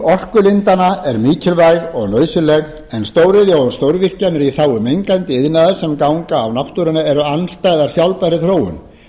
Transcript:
orkulindanna er mikilvæg og nauðsynleg en stóriðja og stórvirkjanir í þágu mengandi iðnaðar sem ganga á náttúruna eru andstæð sjálfbærri þróun